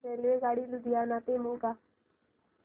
रेल्वेगाडी लुधियाना ते मोगा